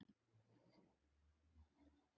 ÞAÐ ER EKKERT VIT Í ÞESSU.